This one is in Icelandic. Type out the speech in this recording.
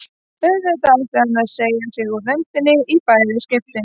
Auðvitað átti hann að segja sig úr nefndinni í bæði skiptin.